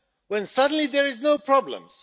Then, suddenly, there are no problems!